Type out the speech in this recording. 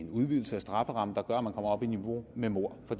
en udvidelse af strafferammen der gør at man kommer op i niveau med mord for